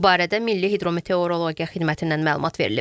Bu barədə Milli Hidrometeorologiya Xidmətindən məlumat verilib.